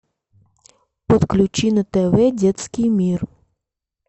подключи на тв детский мир